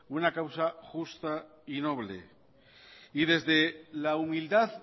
una causa justa y noble y desde la humildad